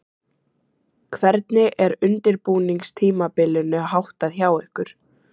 Hvernig er undirbúningstímabilinu háttað hjá ykkur?